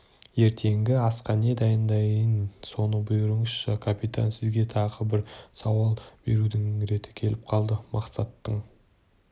ертеңгі асқа не дайындайын соны бұйырыңызшы капитан сізге тағы бір сауал берудің реті келіп қалды мақсаттың